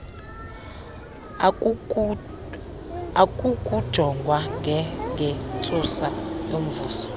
akukujongwa ngengentsusa yomvuzo